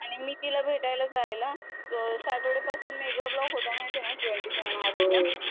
आणि मी तिला भेटायला जायला सॅटरडे पासून मेगा ब्लॉक होता माहितीये ना ट्वेंटी सेव्हन आर्स चा.